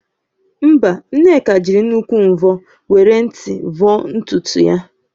Mba, Nneka jịrị nnukwu mvọ were nt vọọ ntutu ya